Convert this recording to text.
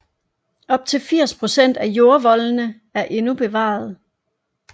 Op til 80 procent af jordvoldene er endnu bevaret